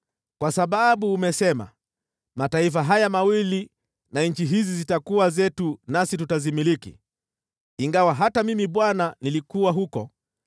“ ‘Kwa sababu umesema, “Mataifa haya mawili na nchi hizi zitakuwa zetu nasi tutazimiliki,” ingawa hata mimi Bwana nilikuwa huko,